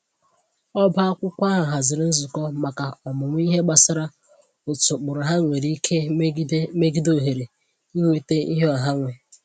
Ọba akwụkwọ ahụ haziri nzukọ maka ọmụmụ ihe gbasara otu ụkpụrụ ha nwere ike megide megide ohere inweta ihe ọha nwe